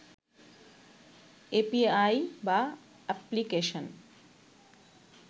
API বা application